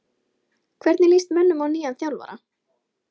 Hvernig lýst mönnum á nýjan þjálfara?